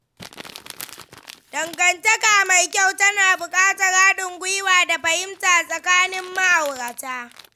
Dangantaka mai kyau tana buƙatar haɗin gwiwa da fahimta tsakanin ma'aurata.